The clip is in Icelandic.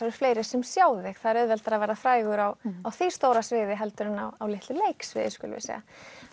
eru fleiri sem sjá þig það er auðveldara að vera frægur á á því stóra sviði heldur en á litlu leiksviði skulum við segja